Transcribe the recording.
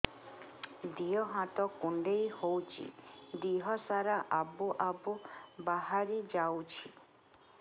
ଦିହ ହାତ କୁଣ୍ଡେଇ ହଉଛି ଦିହ ସାରା ଆବୁ ଆବୁ ବାହାରି ଯାଉଛି